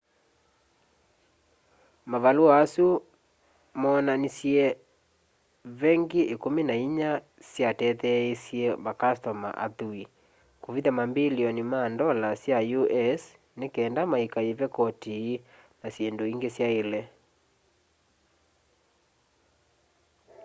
mavalũa asu moonanishe vengi ikũmi na inya syatetheeisye makastoma athui kũvitha mambilioni ma ndola sya us ni kenda maikaive koti na syindũ ingi syaile